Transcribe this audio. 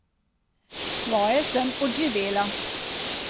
Svoje sem odživela.